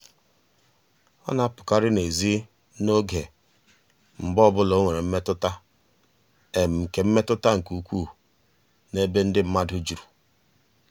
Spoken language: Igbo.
ọ na-apụkarị n'ezi oge mgbe ọ bụla o nwere mmetụta nke mmetụta nke ukwuu n'ebe ndị mmadụ juru.